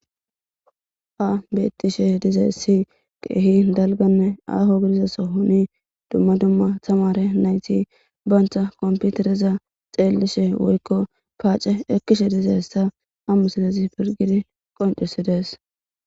Hayssi beettishe dizaysi keehi aahonne dalga sohon dumma dumma tamaare nayiti banta komputereza xeellishe woyikko paace ekkishe piligid qoncisidees.